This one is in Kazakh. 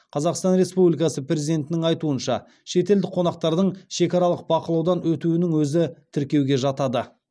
қазақстан республикасы президентінің айтуынша шетелдік қонақтардың шекаралық бақылаудан өтуінің өзі тіркеуге жатады